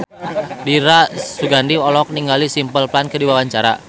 Dira Sugandi olohok ningali Simple Plan keur diwawancara